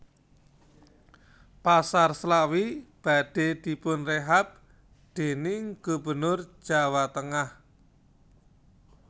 Pasar Slawi badhe dipunrehab dening gubernur Jawa tengah